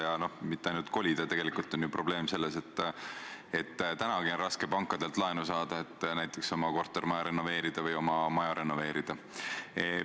Ja mitte ainult kolida – tegelikult on ju probleem selles, et praegu on raske pankadelt laenu saada, et näiteks oma kortermaja või oma eramaja renoveerida.